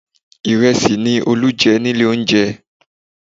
Ìrẹsì ni Olú jẹ nílé oúnjẹ